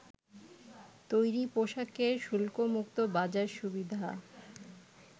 তৈরি পোশাকের শুল্কমুক্ত বাজার সুবিধা